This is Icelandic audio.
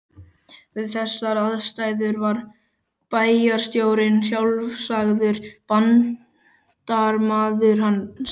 Við þessar aðstæður var bæjarstjórinn sjálfsagður bandamaður hans.